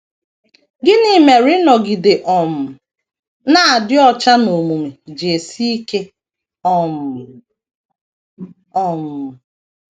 Gịnị mere ịnọgide um na - adị ọcha n’omume ji esi ike um? um